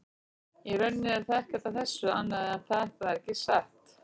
Í rauninni er ekkert að þessu annað en að þetta er ekki satt.